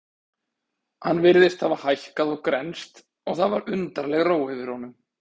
Hann virtist hafa hækkað og grennst og það var undarleg ró yfir honum.